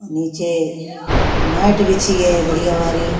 नीचे मैट बिछी है बढियां वाली।